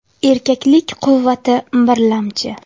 Erkaklik quvvati birlamchi!